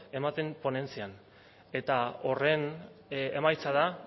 ematen ponentzian eta horren emaitza da